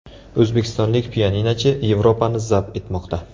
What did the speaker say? O‘zbekistonlik pianinochi Yevropani zabt etmoqda.